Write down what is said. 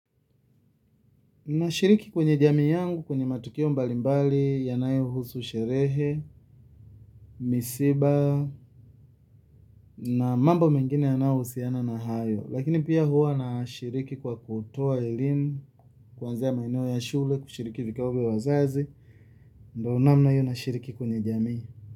Nashiriki kwenye jamii yangu kwenye matukio mbalimbali yanayohusu sherehe, misiba na mambo mengine yanayohusiana na hayo. Lakini pia huwa nashiriki kwa kutoa elimu kuanzia maeneo ya shule kushiriki vikao vya wazazi. Ndiyo namna hiyo na shiriki kwenye jamii.